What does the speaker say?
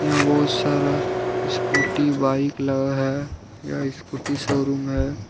बहुत सारा scooty bike लगा है यह स्कूटी शोरूम है।